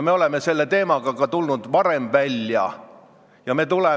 Me oleme selle teemaga ka varem välja tulnud.